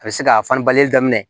A bɛ se ka fani bali daminɛ